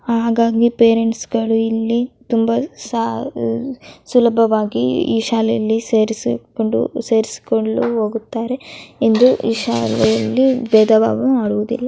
ಹಾಗಾಗಿ ಪೇರೆಂಟ್ಸ್ ಗಳು ಇಲ್ಲಿ ತುಂಬಾ ಸುಲಭವಾಗಿ ಈ ಶಾಲೆಯಲ್ಲಿ ಸೇರಿಸುಕೊಂಡು ಸೇರಿಸುಕೊಂಡು ಹೋಗ್ತಾರೆ ಎಂದು ಈ ಶಾಲೆಯಲ್ಲಿ ಭೇದ ಭಾವ ಮಾಡುವುದಿಲ್ಲ.